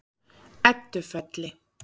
Eddufelli